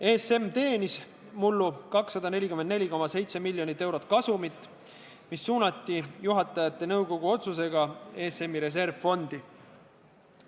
ESM teenis mullu 244,7 miljonit eurot kasumit, mis suunati juhatajate nõukogu otsusega ESM-i reservfondi.